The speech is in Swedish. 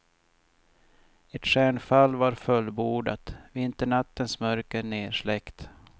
Ett stjärnfall var fullbordat, vinternattens mörker nersläckt.